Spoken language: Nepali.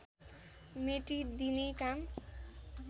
मेटिदिने काम